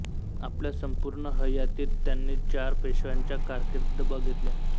आपल्या संपूर्ण हयातीत त्यांनी चार पेशव्यांच्या कारकिर्दी बघितल्या